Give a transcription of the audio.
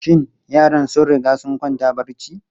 Shin yaran sun riga sun kwanta barci?